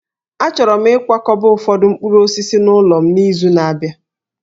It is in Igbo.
Achọrọ m ịkwakọba ụfọdụ mkpụrụ osisi n'ụlọ m n'izu na-abịa